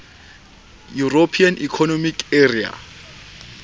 european economic area